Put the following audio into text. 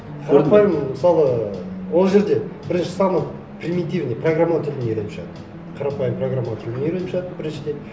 қарапайым мысалы ол жерде бірінші самый примитивный программалау тілін үйреніп шығады қарапайым программалау тілін үйреніп шығады біріншіден